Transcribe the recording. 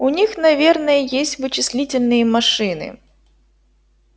у них наверное есть вычислительные машины